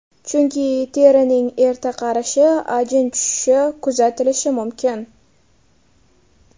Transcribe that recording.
Chunki terining erta qarishi, ajin tushishi kuzatilishi mumkin.